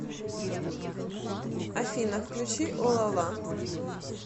афина включи олала